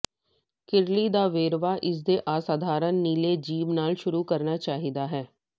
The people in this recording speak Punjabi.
ਕਿਰਲੀ ਦਾ ਵੇਰਵਾ ਇਸ ਦੇ ਅਸਾਧਾਰਨ ਨੀਲੇ ਜੀਭ ਨਾਲ ਸ਼ੁਰੂ ਕਰਨਾ ਚਾਹੀਦਾ ਹੈ